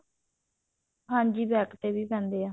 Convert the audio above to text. ਹਾਂਜੀ back ਤੇ ਵੀ ਪੈਂਦੇ ਆ